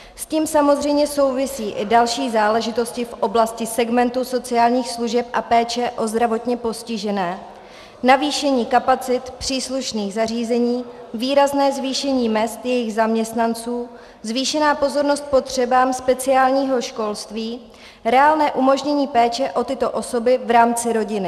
S tím samozřejmě souvisí i další záležitosti v oblasti segmentu sociálních služeb a péče o zdravotně postižené, zvýšení kapacit příslušných zařízení, výrazné zvýšení mezd jejich zaměstnanců, zvýšená pozornost potřebám speciálního školství, reálné umožnění péče o tyto osoby v rámci rodiny.